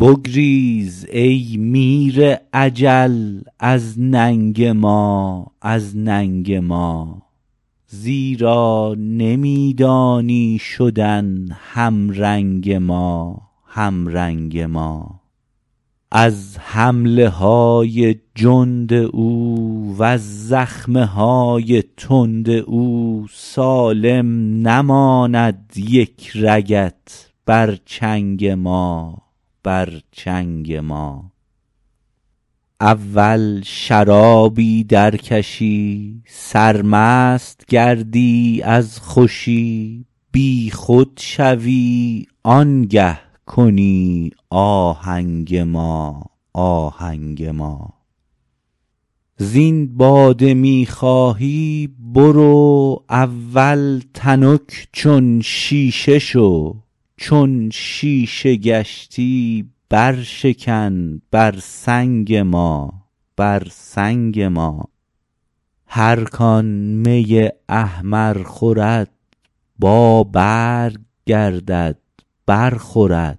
بگریز ای میر اجل از ننگ ما از ننگ ما زیرا نمی دانی شدن همرنگ ما همرنگ ما از حمله های جند او وز زخم های تند او سالم نماند یک رگت بر چنگ ما بر چنگ ما اول شرابی درکشی سرمست گردی از خوشی بیخود شوی آنگه کنی آهنگ ما آهنگ ما زین باده می خواهی برو اول تنک چون شیشه شو چون شیشه گشتی برشکن بر سنگ ما بر سنگ ما هر کان می احمر خورد بابرگ گردد برخورد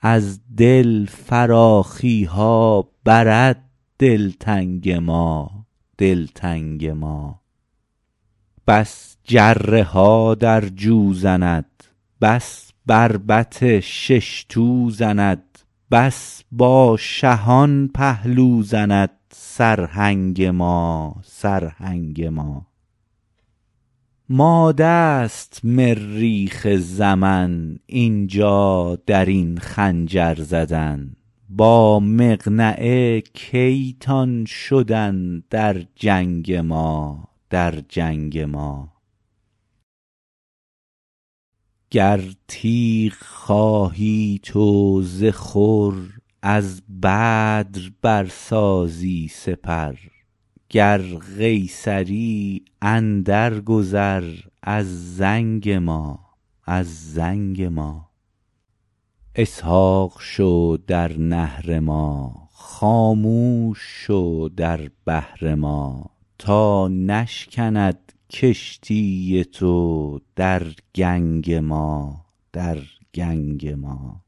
از دل فراخی ها برد دلتنگ ما دلتنگ ما بس جره ها در جو زند بس بربط شش تو زند بس با شهان پهلو زند سرهنگ ما سرهنگ ما ماده است مریخ زمن این جا در این خنجر زدن با مقنعه کی تان شدن در جنگ ما در جنگ ما گر تیغ خواهی تو ز خور از بدر برسازی سپر گر قیصری اندرگذر از زنگ ما از زنگ ما اسحاق شو در نحر ما خاموش شو در بحر ما تا نشکند کشتی تو در گنگ ما در گنگ ما